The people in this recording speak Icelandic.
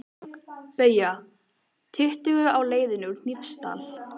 BAUJA: Tuttugu á leiðinni úr Hnífsdal.